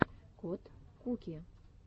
кот куки